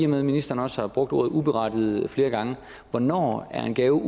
med at ministeren også har brugt ordet uberettiget flere gange hvornår er en gave